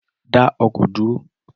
Da ọkọ duro